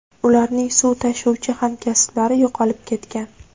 Ularning suv tashuvchi hamkasblari yo‘qolib ketgan.